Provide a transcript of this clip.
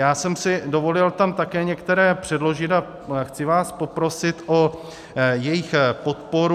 Já jsem si dovolil tam také některé předložit a chci vás poprosit o jejich podporu.